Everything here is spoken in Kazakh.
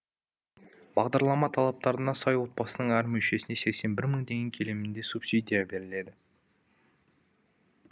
бағдарлама талаптарына сай отбасының әр мүшесіне сексен бір мың теңге көлемінде субсидия беріледі